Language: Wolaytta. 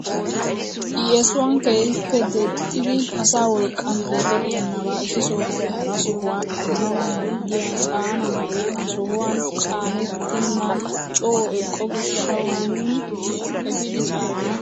Yeesuwaan keehippe deexxidi asaa wolqqaan tookettenabaa issi sohuwaappe hara sohuwaa epaanawu maaddiyaa caana haree ha sohuwaan caanettenan coo eqqo gishshawu nuuni epiidi caanana!